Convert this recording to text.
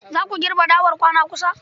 Za ku girbe dawar kwana kusa?